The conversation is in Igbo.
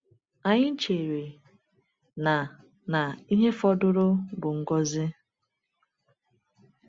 Anyị chere na na ihe fọdụrụ bụ ngọzi.